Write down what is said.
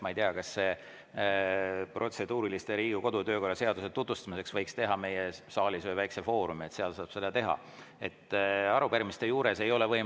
Ma ei tea, kas nende protseduuriliste võiks Riigikogu kodu- ja töökorra seaduse tutvustamiseks teha meile saalis ühe väikese foorumi, kus saaks.